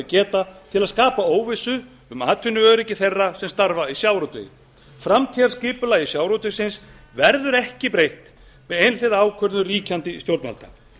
geta til að skapa óvissu um atvinnuöryggi þeirra sem starfa í sjávarútvegi framtíðarskipulagi sjávarútvegsins verður ekki breytt með einhliða ákvörðun ríkjandi stjórnvalda